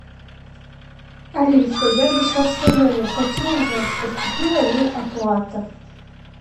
алиса я зашла в свой номер хочу узнать поступила ли оплата